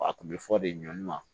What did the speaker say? A kun bɛ fɔ de ɲɔn ma